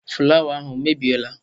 fụlawa ahụ o mebiela?